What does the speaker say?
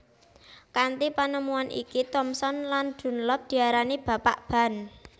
Kanthi penemuan iki Thomson lan Dunlop diarani Bapak Ban